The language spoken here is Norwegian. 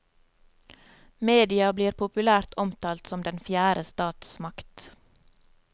Media blir populært omtalt som den fjerde statsmakt.